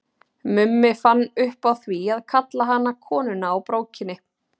Mummi fann upp á því að kalla hana Konuna á brókinni.